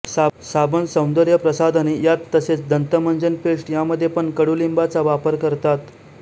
साबण सौंदर्य प्रसाधने यात तसेच दंतमंजनपेस्ट यामध्ये पण कडूलिंबाचा वापर करतात